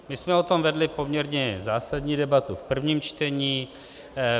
My jsme o tom vedli poměrně zásadní debatu v prvním čtení.